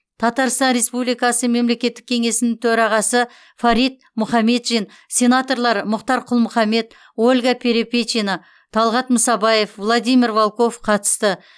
татарстан республикасы мемлекеттік кеңесінің төрағасы фарид мұхаметшин сенаторлар мұхтар құл мұхаммед ольга перепечина талғат мұсабаев владимир волков қатысты